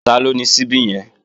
Taló ni ṣíbí yẹn?